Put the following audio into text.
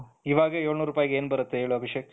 ಇವಾಗ ಎಳುನೂರ್ ರೂಪಾಯಿಗೆ ಏನು ಬರುತ್ತೆ ಹೇಳು ಅಭಿಷೇಕ್,